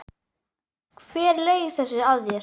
Hver laug þessu að þér?